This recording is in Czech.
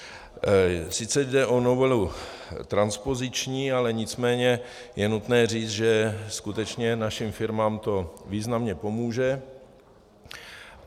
Sice jde o novelu transpoziční, ale nicméně je nutné říct, že skutečně našim firmám to významně pomůže.